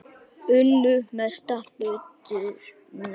Unnu mestan hluta nætur.